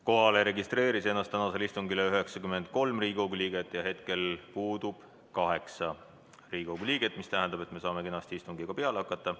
Kohalolijaks registreeris ennast täna 93 Riigikogu liiget ja hetkel puudub 8 Riigikogu liiget, mis tähendab, et me saame kenasti istungiga peale hakata.